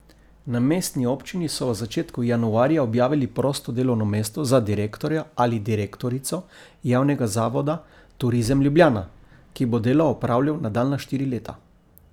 Na mestni občini so v začetku januarja objavili prosto delovno mesto za direktorja ali direktorico javnega zavoda Turizem Ljubljana, ki bo delo opravljal nadaljnja štiri leta.